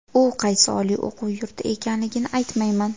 U qaysi oliy o‘quv yurti ekanligini aytmayman.